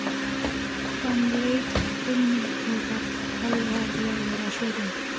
Hann leit til mín og varð alvarlegur á svipinn.